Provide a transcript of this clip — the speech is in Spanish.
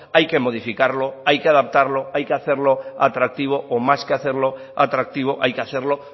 hay que modificarlo hay que adaptarlo hay que hacerlo atractivo o más que hacerlo atractivo hay que hacerlo